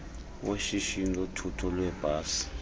weshishini lothutho lweebhasi